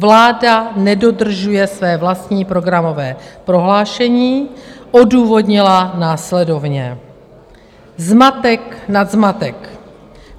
Vláda nedodržuje své vlastní programové prohlášení - odůvodnila následovně: zmatek nad zmatek.